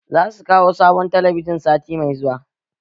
Za su kawo sabon talabijin sati mai zuwa